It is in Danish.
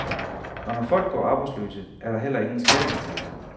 Og når folk går arbejdsløse er der heller ingen skatteindtægter.